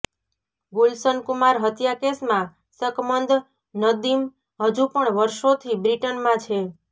ગુલશન કુમાર હત્યા કેસમાં શકમંદ નદીમ હજુ પણ વર્ષોથી બ્રિટનમાં છે